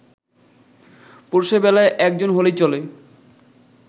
পুরুষের বেলায় একজন হলেই চলে